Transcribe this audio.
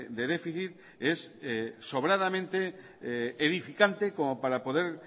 de déficit es sobradamente edificante como para poder